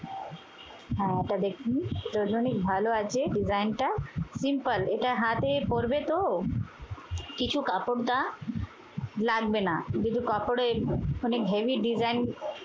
হ্যাঁ এটা দেখুন এটা ওজনে অনেক ভালো আছে design টা simple এটা হাতে পড়বে তো। কিছু কাপড়ডা লাগবে না। দুটো কাপড়ের মানে heavy design